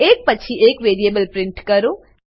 એક પછી એક વેરીએબલ પ્રિન્ટ કરો